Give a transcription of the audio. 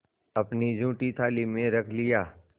अपनी जूठी थाली में रख लिया